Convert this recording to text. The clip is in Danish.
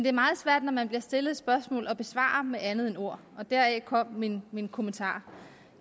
er meget svært når man bliver stillet et spørgsmål at besvare det med andet end ord deraf kom min min kommentar